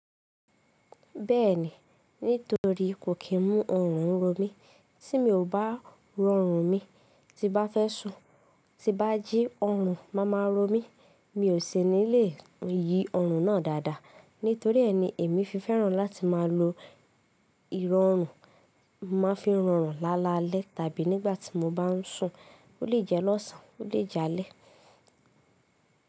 Bẹ́ẹ̀ni, nítotorí kò kí n mú ọrùn run mí. Tí mi ò bá rọrùn mi, tí bá fẹ́ sùn, tí bá jí ọrùn máa máa run mi, mi ò ṣe nílé yi ọrùn náà dáadáa. Nítorí ẹni èmi fi fẹ́ràn láti máa lo ìrọ̀rùn, máa fi rọrùn lálalẹ́ tàbí nígbà tí mo bá ń sùn, ó lè jẹ́ lọ́sàn án, ó lè jẹ́ alẹ́.